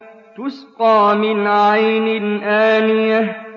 تُسْقَىٰ مِنْ عَيْنٍ آنِيَةٍ